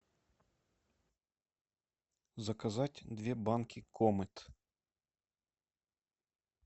заказать две банки комет